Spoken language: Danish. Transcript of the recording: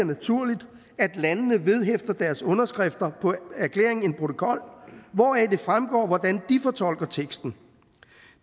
naturligt at landene vedhæfter deres underskrifter på erklæringen en protokol hvoraf det fremgår hvordan de fortolker teksten